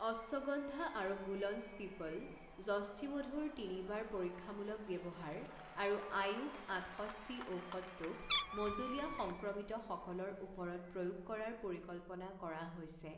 অশ্বগন্ধা আৰু গুলঞ্চ পিপল, জষ্ঠিমধুৰ তিনিবাৰ পৰীক্ষামূলক ব্যৱহাৰ আৰু আয়ুষ আঠষষ্ঠি ঔষধটোক মঁজলীয়া সংক্ৰমিতসকলৰ ওপৰত প্ৰয়োগ কৰাৰ পৰিকল্পনা কৰা হৈছে।